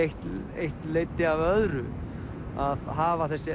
eitt leiddi af öðru að hafa